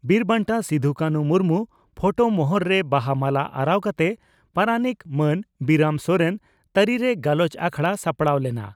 ᱵᱤᱨ ᱵᱟᱱᱴᱟ ᱥᱤᱫᱚᱼᱠᱟᱱᱦᱩ ᱢᱩᱨᱢᱩ ᱯᱷᱚᱴᱚ ᱢᱚᱦᱚᱨ ᱨᱮ ᱵᱟᱦᱟ ᱢᱟᱞᱟ ᱟᱨᱟᱣ ᱠᱟᱛᱮ ᱯᱟᱨᱟᱱᱤᱠ ᱢᱟᱱ ᱵᱤᱨᱟᱢ ᱥᱚᱨᱮᱱ ᱛᱟᱹᱨᱤᱨᱮ ᱜᱟᱞᱚᱪ ᱟᱠᱷᱲᱟ ᱥᱟᱯᱲᱟᱣ ᱞᱮᱱᱟ ᱾